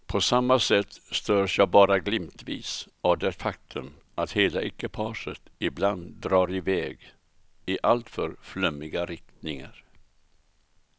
På samma sätt störs jag bara glimtvis av det faktum att hela ekipaget ibland drar i väg i alltför flummiga riktningar.